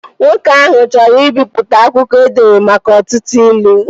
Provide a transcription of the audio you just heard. Nwoke ahụ chọrọ ibipụta akwụkwọ edere maka ọtụtụ ilu